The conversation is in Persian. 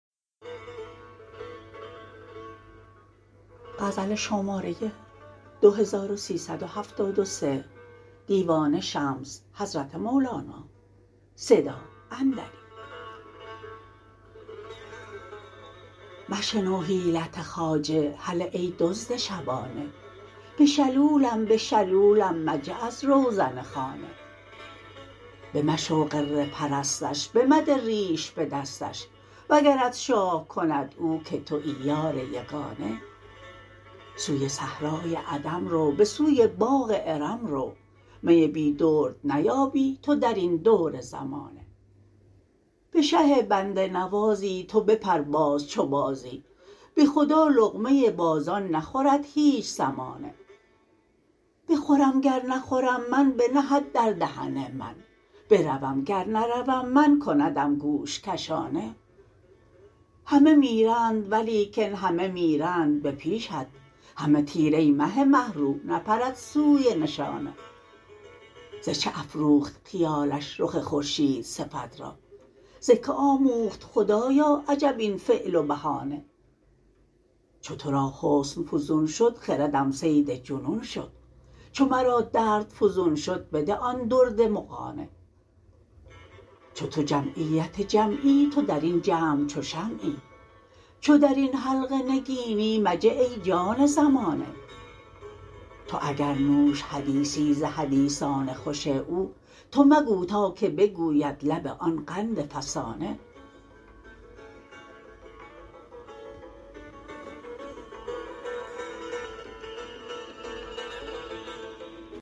مشنو حیلت خواجه هله ای دزد شبانه بشلولم بشلولم مجه از روزن خانه بمشو غره پرستش بمده ریش به دستش وگرت شاه کند او که توی یار یگانه سوی صحرای عدم رو به سوی باغ ارم رو می بی درد نیابی تو در این دور زمانه به شه بنده نوازی تو بپر باز چو بازی به خدا لقمه بازان نخورد هیچ سمانه بخورم گر نخورم من بنهد در دهن من بروم گر نروم من کندم گوش کشانه همه میرند ولیکن همه میرند به پیشت همه تیر ای مه مه رو نپرد سوی نشانه ز چه افروخت خیالش رخ خورشیدصفت را ز کی آموخت خدایا عجب این فعل و بهانه چو تو را حسن فزون شد خردم صید جنون شد چو مرا درد فزون شد بده آن درد مغانه چو تو جمعیت جمعی تو در این جمع چو شمعی چو در این حلقه نگینی مجه ای جان زمانه تو اگر نوش حدیثی ز حدیثان خوش او تو مگو تا که بگوید لب آن قندفسانه